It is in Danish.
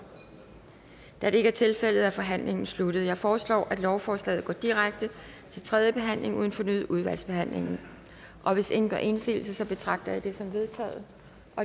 da det ikke er tilfældet er forhandlingen sluttet jeg foreslår at lovforslaget går direkte til tredje behandling uden fornyet udvalgsbehandling og hvis ingen gør indsigelse betragter jeg det som vedtaget